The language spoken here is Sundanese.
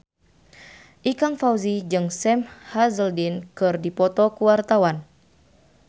Ikang Fawzi jeung Sam Hazeldine keur dipoto ku wartawan